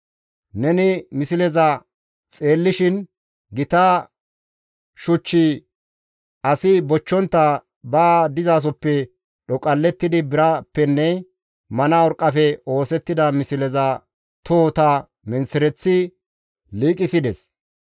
Neni misleza xeellishin gita shuchchi asi bochchontta ba dizasoppe dhoqallettidi birappenne mana urqqafe oosettida misleza tohota menththereththi liiqisides.